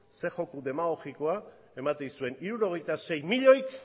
zein joko demagogikoa ematen dizuen hirurogeita sei milioik